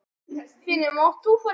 Blandað vel saman.